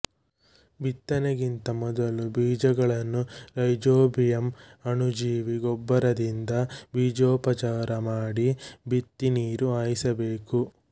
ಬಿತ್ತನೆಗಿಂತ ಮೊದಲು ಬೀಜಗಳನ್ನು ರೈಜೋಬಿಯಂ ಅಣುಜೀವಿ ಗೊಬ್ಬರದಿಂದ ಬೀಜೋಪಚಾರ ಮಾಡಿ ಬಿತ್ತಿ ನೀರು ಹಾಯಿಸಬೇಕು